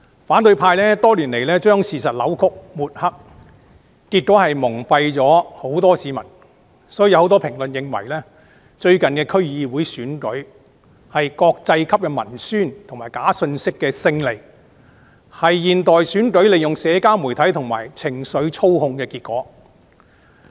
反對派多年來將事實扭曲和抹黑，結果蒙蔽了很多市民，很多評論認為最近區議會選舉的結果，是國際級文宣及假信息的勝利，是現代選舉利用社交媒體及情緒操控的結果。